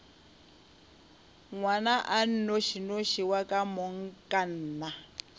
ngwana a nnošinoši wa komangkanna